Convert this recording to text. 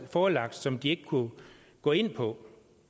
forelagt som de ikke kunne gå ind på